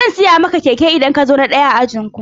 Zan siya maka keke idan ka zo na daya a ajinku.